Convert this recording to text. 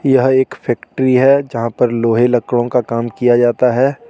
यह एक फैक्ट्री हे जहाँ पर लोहे लकड़ो का काम किया जाता हे.